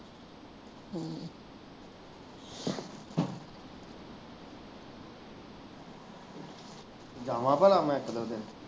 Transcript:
ਜਾਵਾਂ ਭਲਾ ਮੈਂ ਇੱਕ ਦਿਨ ਤੇ